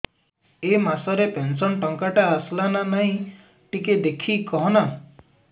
ଏ ମାସ ରେ ପେନସନ ଟଙ୍କା ଟା ଆସଲା ନା ନାଇଁ ଟିକେ ଦେଖିକି କହନା